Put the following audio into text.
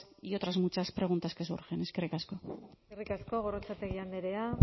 y otras muchas preguntas que surgen eskerrik asko eskerrik asko gorrotxategi andrea